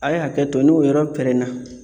A' ye hakɛto n'o yɔrɔ pɛrɛnna